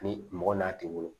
Ni mɔgɔ n'a tɛ wolo